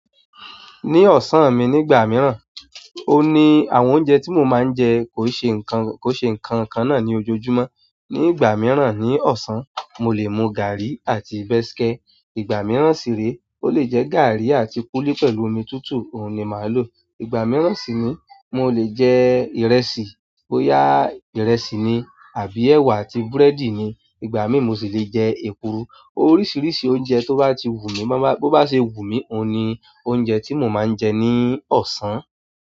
Ní ọ̀sán mi nígbà mìíràn, ó ní àwọn oúnjẹ tí mo máa ń jẹ kò ṣe nǹkan, kò ṣe nǹkan kan náà ní ojoojúmọ́. Ni ìgbà mìíràn ní ọ̀sán, mo lè mu gàárì àti bẹ̀skẹ́. Ìgbà mìíràn sì rè é, ó lè jẹ́ gàárì àti kúúlí pẹ̀lú omi tútù, òun ni màá lò. Ìgbà mìíràn sì ni mo lè jẹ ìrẹsì, bóyá ìrẹsì ni àbí ẹwà àti búrẹ́dì ni. Ìgbà mi mo sì lè jẹ èkuru. Oríṣiríṣi oúnjẹ tó bá ti wù mí, bó bá ṣe wù mí, òun ni oúnjẹ tí mo máa ń jẹ ní ọ̀sán.